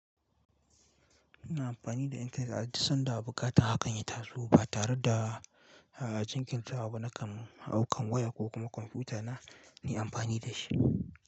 Ina amfani da intanet aduk sanda buƙatar hakan ya taso ba tare da jinkirtawa ba. Nakan hau kan waya ko kuma kwamfutana nayi amfani da shi.